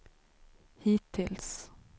hittills